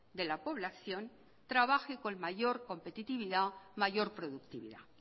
de la población trabaje con mayor competitividad mayor productividad